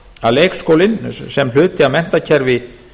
að leikskólinn sé hluti af menntakerfi